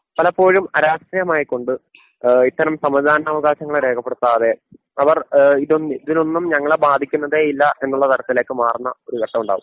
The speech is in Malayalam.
പലപ്പോഴും ആരാഷ്ട്രീയമായികൊണ്ട് ഏഹ് ഇത്തരം സമ്മതിദാന അവകാശങ്ങളെ രേഖപ്പെടുത്താതെ അവർ ഏഹ് ഇതൊന്നും ഇതിനൊന്നും ഞങ്ങളെ ബാധിക്കുന്നതേയില്ല എന്നുള്ള തരത്തിലേക്ക് മാറുന്ന ഒരു ഘട്ടമുണ്ടാവും.